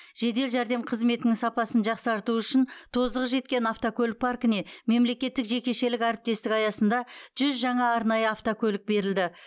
жедел жердем қызметінің сапасын жақсарту үшін тозығы жеткен автокөлік паркіне мемлекеттік жекешелік әріптестік аясында жүз жаңа арнайы автокөлік берілді